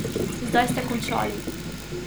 Zdaj ste končali.